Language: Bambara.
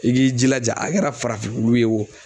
I k'i jilaja a kɛra farafin wulu ye wo